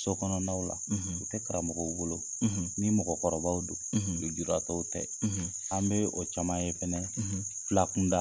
so kɔnɔnaw la u karamɔgɔw bolo ni mɔgɔkɔrɔbaw don lejuratɔw tɛ an bɛ o caman ye fana fila kunda.